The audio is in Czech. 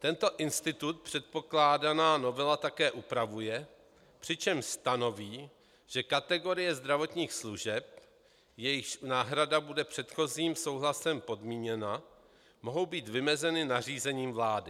Tento institut předkládaná novela také upravuje, přičemž stanoví, že kategorie zdravotních služeb, jejichž náhrada bude předchozím souhlasem podmíněna, mohou být vymezeny nařízením vlády.